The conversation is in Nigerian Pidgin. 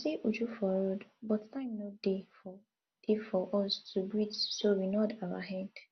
i see uju for road but time no dey for dey for us to greet so we nod our head